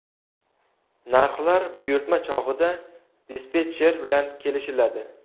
Narxlar buyurtma chog‘ida dispetcher bilan kelishiladi.